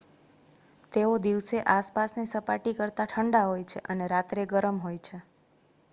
"""તેઓ દિવસે આસપાસની સપાટી કરતા ઠંડા હોય છે અને રાત્રે ગરમ હોય છે.""